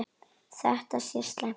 Þetta sé slæmt.